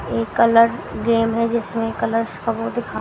ये colour game है जिसमें कलर्स को दिखा--